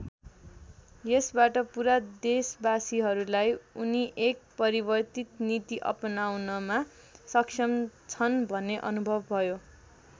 यसबाट पुरा देशबासिहरूलाई उनी एक परिवर्तित नीति अपनाउनमा सक्षम छन् भन्ने अनुभव भयो।